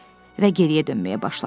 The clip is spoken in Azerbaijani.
Və geriyə dönməyə başladı.